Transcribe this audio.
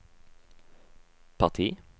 parti